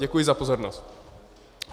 Děkuji za pozornost.